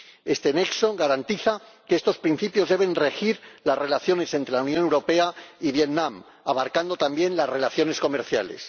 Este nexo garantiza que estos principios deben regir las relaciones entre la Unión Europea y Vietnam, abarcando también las relaciones comerciales.